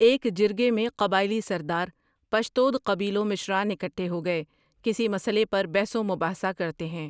ایک جرگے میں قبائلی سردار پشتود قبیلو مشران اکھٹے ہوگۓ کسی مسلے پہ بحث و مباحثہ کرتے ہیں ۔